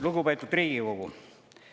Lugupeetud Riigikogu!